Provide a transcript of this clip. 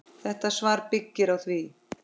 Þetta svar byggir á því.